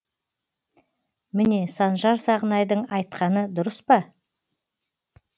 міне санжар сағынайдың айтқаны дұрыспа